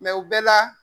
u bɛɛ la